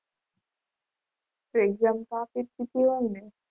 તો exam તો આપી દીધી હોય ને!